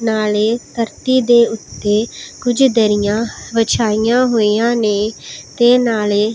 ਨਾਲੇ ਧਰਤੀ ਦੇ ਓੱਤੇ ਕੁਝ ਸਾਰੀਆਂ ਵਿਛਾਈਆਂ ਹੋਈ ਆਂ ਨੇਂ ਤੇ ਨਾਲੇ--